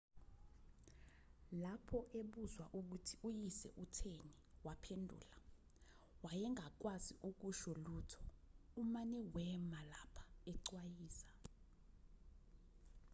lapho ebuzwa ukuthi uyise utheni waphendula wayengakwazi ukusho lutho umane wema lapha ecwayiza